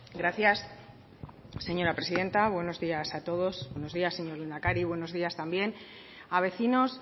gracias señora presidenta buenos días a todos buenos días señor lehendakari buenos días también a vecinos